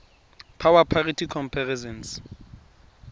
power parity comparisons